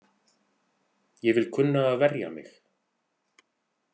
Ég vil kunna að verja mig.